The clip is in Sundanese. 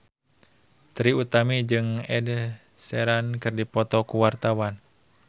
Trie Utami jeung Ed Sheeran keur dipoto ku wartawan